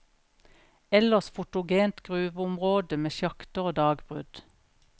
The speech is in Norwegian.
Ellers fotogent gruveområde med sjakter og dagbrudd.